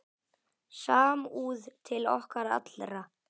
Samúð til okkar allra.